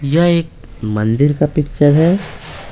यह एक मंदिर का पिक्चर है।